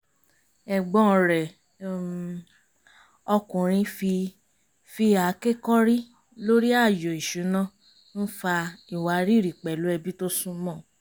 ẹ̀gbọ́n rẹ̀ um ọkùnrin fi fi àáké kọ́rí lórí ààyò ìṣúná ń fa ìwárìrì pẹ̀lú ẹbí tó súnmọ́